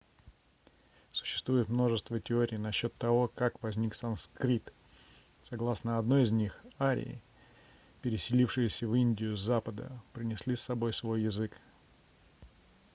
существует множество теорий насчет того как возник санскрит согласно одной из них арии переселившиеся в индию с запада принесли с собой свой язык